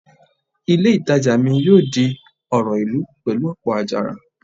Ilé ìtajà mi yóò di ọ̀rọ̀ ìlú pẹ̀lú ọ̀pọ̀ àjàrà